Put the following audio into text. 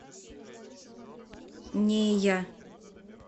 нея